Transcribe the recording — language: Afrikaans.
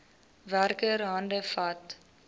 werker hande vat